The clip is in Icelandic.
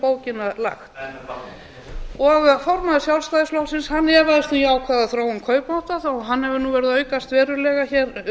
bókina lagt en formaður sjálfstæðisflokksins efaðist um jákvæða þróun kaupmáttar hann hefur nú verið að aukast verulega hér